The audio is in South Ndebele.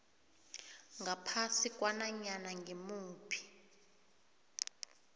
ngaphasi kwananyana ngimuphi